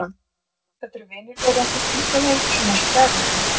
Þetta eru vinir þeirra, þau fylgja þeim svona eins og gæludýr.